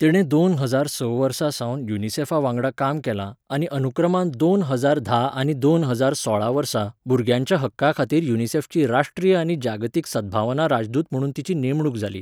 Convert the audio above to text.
तिणें दोन हजार स वर्सा सावन युनिसेफा वांगडा काम केलां आनी अनुक्रमान दोन हजार धा आनी दोन हजार सोळा वर्सा भुरग्यांच्या हक्कां खातीर युनिसेफची राष्ट्रीय आनी जागतीक सद्भावना राजदूत म्हणून तिची नेमणूक जाली.